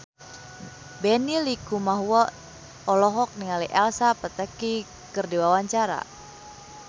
Benny Likumahua olohok ningali Elsa Pataky keur diwawancara